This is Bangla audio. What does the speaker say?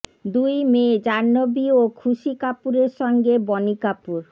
দুই মেয়ে জাহ্নবী ও খুশি কাপুরের সঙ্গে বনি কাপুর